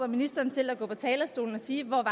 ministeren til at gå på talerstolen og sige hvor